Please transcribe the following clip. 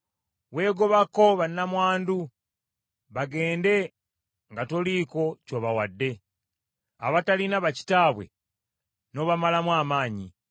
Weegobako bannamwandu bagende nga toliiko ky’obawadde; abatalina bakitaabwe n’obamalamu amaanyi.